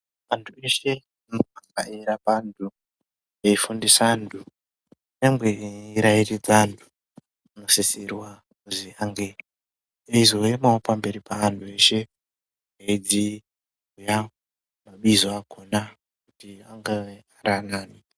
Antu eshe anenge eirapa antu eifundisa antu nyangwe eirairidza antu anosisirwa kuzi ange eizouya pamberi peantu eshe eidzidzisa mabizo akhona kuti anga eyi.